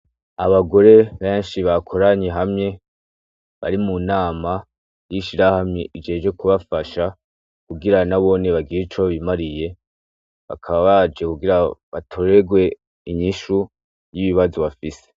Abagore benshi bakoranye hamwe, bari munama y'ishirahamwe ijejwe kubafasha kugira nabo bagire ico bimariye, bakaba baje kugira batorerwe inyishu y'ibibazo bafise .